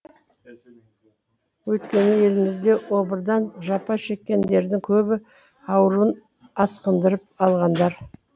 өйткені елімізде обырдан жапа шеккендердің көбі ауруын асқындырып алғандар